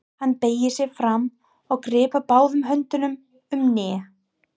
Hann beygir sig fram og grípur báðum höndum um hnén.